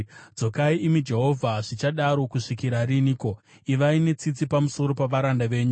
Dzokai, imi Jehovha! Zvichadaro kusvikira riniko? Ivai netsitsi pamusoro pavaranda venyu.